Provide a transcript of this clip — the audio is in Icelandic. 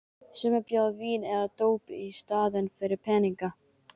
Sumir bjóða vín eða dóp í staðinn fyrir peninga.